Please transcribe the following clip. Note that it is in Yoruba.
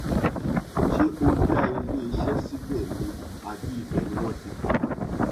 ṣé ó dá iléeṣẹ síbẹ ni àbí ibẹ ni wọn ti bí i